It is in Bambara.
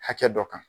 Hakɛ dɔ kan